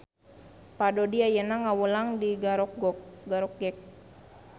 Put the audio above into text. Pak Dodi ayeuna ngawulang di Garokgek